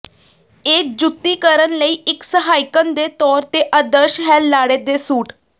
ਇਹ ਜੁੱਤੀ ਕਰਨ ਲਈ ਇੱਕ ਸਹਾਇਕਣ ਦੇ ਤੌਰ ਤੇ ਆਦਰਸ਼ ਹੈ ਲਾੜੇ ਦੇ ਸੂਟ